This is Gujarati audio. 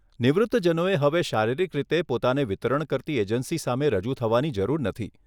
નિવૃત્તજનોએ હવે શારીરિક રીતે પોતાને વિતરણ કરતી એજન્સી સામે રજૂ થવાની જરૂર નથી.